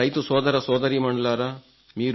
నారైతు సోదరసోదరీమణులారా